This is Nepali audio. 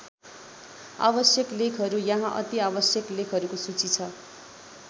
आवश्यक लेखहरू यहाँ अति आवश्यक लेखहरूको सूची छ।